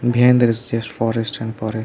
beyond there is just forest and forest.